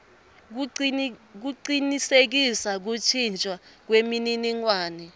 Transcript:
kucinisekisa kuntjintjwa kwemininingwane